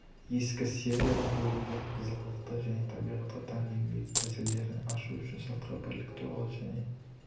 ескі серияда бөлінген қызғылықты және табиғатқа тән еңбек тәсілдерін ашу үш сыртқы бірлік туралы және